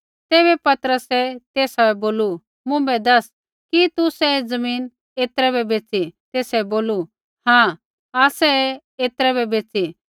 तैबै पतरसै तेसा बै बोलू मुँभै दैस कि तुसै ऐ ज़मीन ऐतरै बै बैच़ी तेसै बोलू हाँ आसै ऐ ऐतरै बै बैच़ी